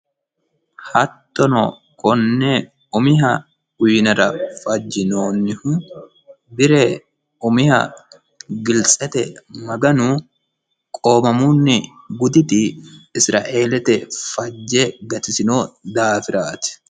hattono konne umiha uyiinara fajjinoonnihu bire umiha giltsete maganu qoomamunni guditi isiraeelete maganu fajje gatisino daafiraati.